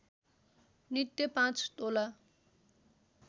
नित्य पाँच तोला